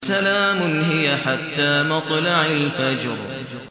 سَلَامٌ هِيَ حَتَّىٰ مَطْلَعِ الْفَجْرِ